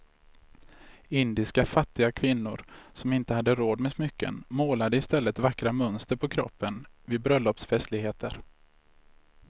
Indiska fattiga kvinnor som inte hade råd med smycken målade i stället vackra mönster på kroppen vid bröllopsfestligheter.